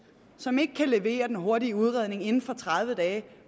som ikke kan levere den hurtige udredning inden for tredive dage